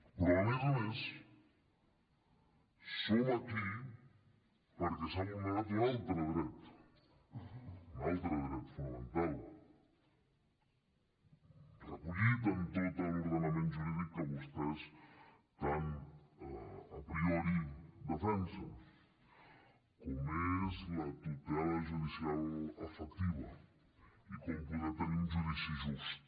però a més a més som aquí perquè s’ha vulnerat un altre dret un altre dret fonamental recollit en tot l’ordenament jurídic que vostès tant a priori defensen com és la tutela judicial efectiva i com poder tenir un judici just